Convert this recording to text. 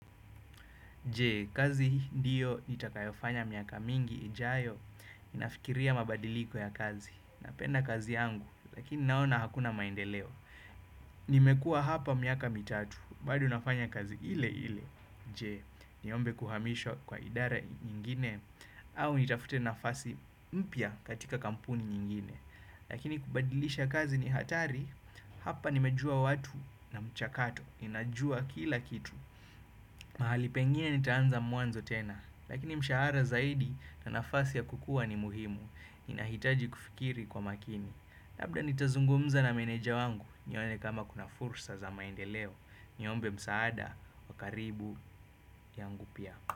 Je, kazi hii ndiyo nitakayofanya miaka mingi ijayo? Ninafikiria mabadiliko ya kazi. Napenda kazi yangu, lakini naona hakuna maendeleo. Nimekuwa hapa miaka mitatu, bado nafanya kazi ile ile. Je, niombe kuhamishwa kwa idara nyingine, au nitafute nafasi mpya katika kampuni nyingine? Lakini kubadilisha kazi ni hatari, hapa nimejua watu na mchakato, ninajua kila kitu. Mahali pengine nitaanza mwanzo tena, lakini mshahara zaidi na nafasi ya kukua ni muhimu. Ninahitaji kufikiri kwa makini. Labda nitazungumza na meneja wangu, nione kama kuna fursa za maendeleo. Niombe msaada wa karibu yangu pia.